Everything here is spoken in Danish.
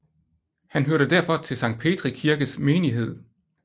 Han hørte derfor til Sankt Petri Kirkes menighed